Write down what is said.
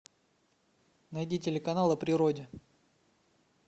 найди телеканал о природе